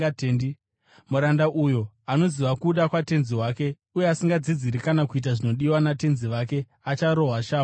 “Muranda uyo anoziva kuda kwatenzi wake uye asingagadziriri kana kuita zvinodiwa natenzi wake acharohwa shamhu zhinji.